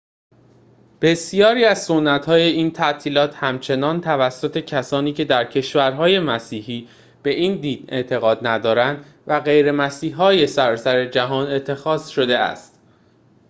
بسیاری از سنت‌های این تعطیلات همچنین توسط کسانی که در کشورهای مسیحی به این دین اعتقاد ندارند و غیرمسیحی‌های سراسر جهان اتخاذ شده است